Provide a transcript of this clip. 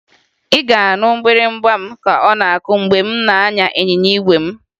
Ị ga-anụ mgbịrịmgba m ka ọ na-akụ mgbe m na-anya ịnyịnya igwe m